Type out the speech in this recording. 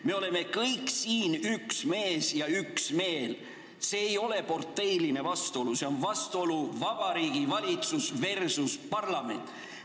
Me oleme kõik siin nagu üks mees ühel meelel – see ei ole parteidevaheline vastuolu, see on vastuolu Vabariigi Valitsus versus parlament.